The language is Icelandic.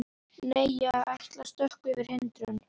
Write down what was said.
Nei, ég ætla að stökkva yfir hindrun.